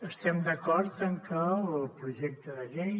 estem d’acord en que el projecte de llei